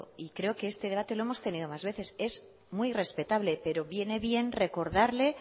creo que este debate lo hemos tenido más veces es muy respetable pero viene bien recordarle